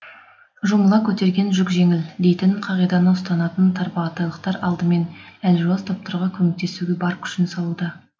жұмыла көтерген жүк жеңіл дейтін қағиданы ұстанатын тарбағатайлықтар алдымен әлжуаз топтарға көмектесуге бар күшін салуда